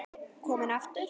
Kominn aftur?